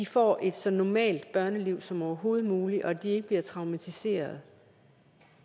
får et så normalt børneliv som overhovedet muligt og at de ikke bliver traumatiserede